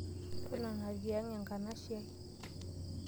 Totona te aang' enkanashiai.